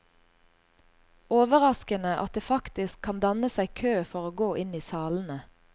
Overraskende at det faktisk kan danne seg kø for å gå inn i salene.